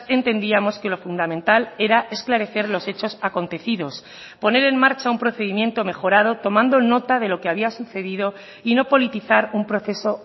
entendíamos que lo fundamental era esclarecer los hechos acontecidos poner en marcha un procedimiento mejorado tomando nota de lo que había sucedido y no politizar un proceso